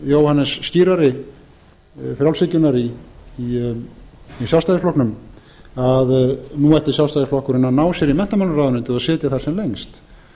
hinn mikli jóhannes skírari frjálshyggjunnar í sjálfstæðisflokknum að nú ætti sjálfstæðisflokkurinn að ná sér í menntamálaráðuneytið og sitja þar sem lengst eitt